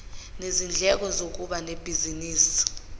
nezindleko zokuba nebhizinisi